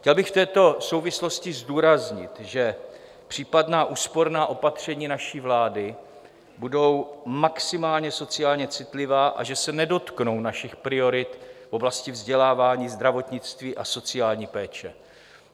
Chtěl bych v této souvislosti zdůraznit, že případná úsporná opatření naší vlády budou maximálně sociálně citlivá a že se nedotknou našich priorit v oblasti vzdělávání, zdravotnictví a sociální péče.